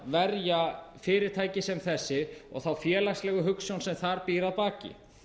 verja fyrirtæki sem þessi og félagslegu hugsjónina sem þar býr að baki